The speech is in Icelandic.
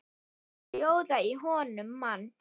Sjóða í honum mann!